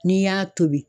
N'i y'a tobi